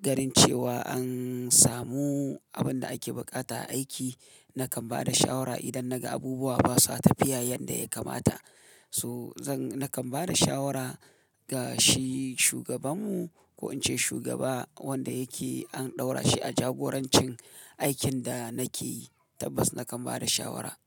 ganin cewa an samu abin da ake buƙata a aiki, nakan bada shawara idan naga abubuwa basa tafiya yadda ya kamata. To zan nakan bada shawara ga shi shugabanmu ko in ce shugaba wanda yake an ɗaura shi a jagorancin aikin da nake yi, tabbas nakan bada shawara.